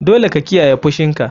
Dole ka kiyaye fushinka.